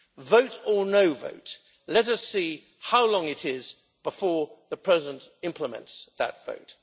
Vote or no vote, let us see how long it is before the president implements that vote.